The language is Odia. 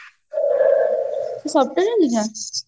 software engineer